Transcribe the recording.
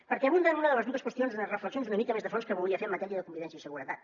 perquè aprofundeix en una de les dues reflexions una mica més de fons que volia fer en matèria de convivència i seguretat